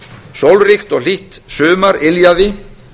sólríkt og hlýtt sumar yljaði